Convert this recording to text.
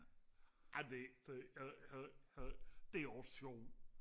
ej det det det det det det også sjovt